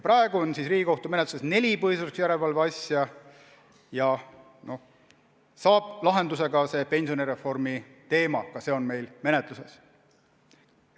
Praegu on Riigikohtu menetluses neli põhiseaduslikkuse järelevalve asja ning saab lahenduse ka pensionireformi teema, mis meil menetluses on.